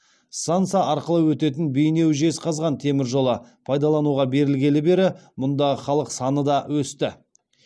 станса арқылы өтетін бейнеу жезқазған темір жолы пайдалануға берілгелі бері мұндағы халық саны да өсті